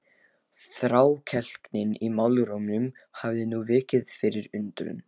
Þrákelknin í málrómnum hafði nú vikið fyrir undrun.